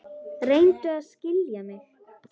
Reyndu að skilja mig.